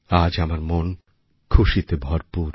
আজ আমার মন খুশিতে ভরপুর